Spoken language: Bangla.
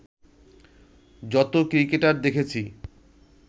যতো ক্রিকেটার দেখেছি